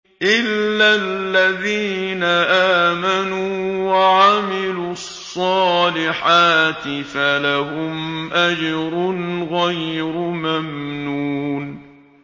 إِلَّا الَّذِينَ آمَنُوا وَعَمِلُوا الصَّالِحَاتِ فَلَهُمْ أَجْرٌ غَيْرُ مَمْنُونٍ